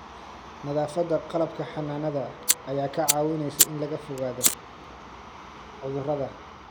Nadaafadda qalabka xannaanada ayaa kaa caawinaysa in laga fogaado cudurrada.